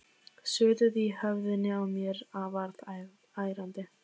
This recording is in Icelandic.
Suðið í höfðinu á mér varð ærandi.